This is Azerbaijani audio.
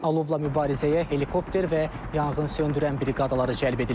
Alovla mübarizəyə helikopter və yanğınsöndürən briqadaları cəlb edilib.